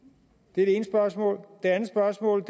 det er det ene spørgsmål det andet spørgsmål